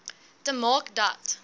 te maak dat